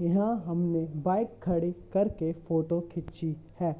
यह हमने बाइक खड़ी करके फोटो खींची है।